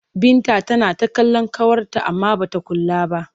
Binta tana kallon ƙawarta amma ba ta kula ta ba.